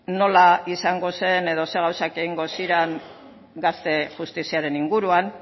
nola izango zen edo zein gauzak egingo ziren gazte justiziaren inguruan